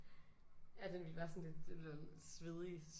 Ja den ville være sådan lidt svedig